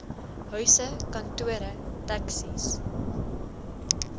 huise kantore taxis